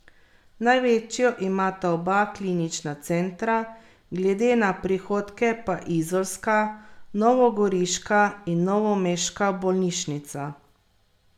Največjo imata oba klinična centra, glede na prihodke pa izolska, novogoriška in novomeška bolnišnica.